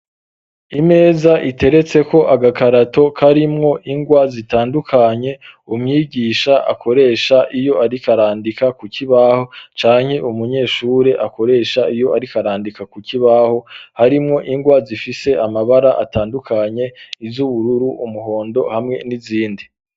Imeza iteretseko agakarato karimwo ingwa zitandukanye, umwigisha akoresha iyo ariko arandika ku kibaho canke umunyeshure akoresha iyo ariko arandika ku kibaho, harimwo ingwa zifise amabara atandukanye: iz'ubururu, umuhondo hamwe n'izindi.